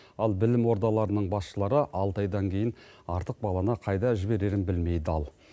ал білім ордаларының басшылары алты айдан кейін артық баланы қайда жіберерін білмей дал